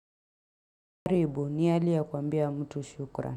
Haribu ni hali ya kuambia mtu shukra.